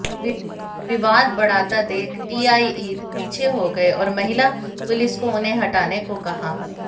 विवाद बढ़ाता देख टीआई पीछे हो गए और महिला पुलिस को उन्हें हटाने को कहा